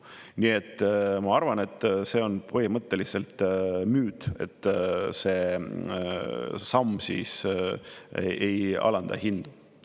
Nii et ma arvan, et see on põhimõtteliselt müüt, et see samm ei alanda hindu.